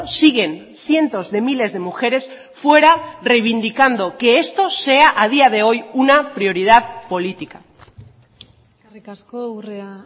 siguen cientos de miles de mujeres fuera reivindicando que esto sea a día de hoy una prioridad política eskerrik asko urrea